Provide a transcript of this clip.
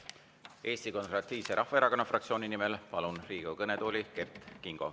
Palun Riigikogu kõnetooli Eesti Konservatiivse Rahvaerakonna fraktsiooni nimel Kert Kingo.